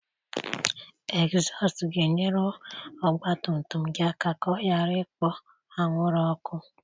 Egzọst ga-enyere ọgba tum tum gị aka ka ọ ghara ịkpo anwụrụ ọkụ